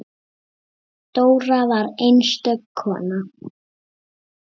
Dóra var einstök kona.